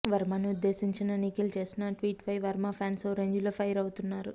వర్మను ఉద్దేశించిన నిఖిల్ చేసిన ట్వీట్పై వర్మ ఫ్యాన్స్ ఓ రేంజ్లో ఫైర్ అవుతున్నారు